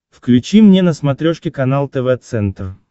включи мне на смотрешке канал тв центр